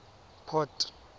port